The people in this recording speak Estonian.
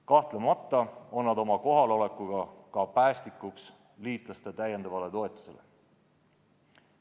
Kahtlemata on nad oma kohalolekuga ka päästikuks liitlaste täiendavale toetusele.